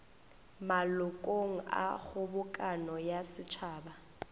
malokong a kgobokano ya setšhaba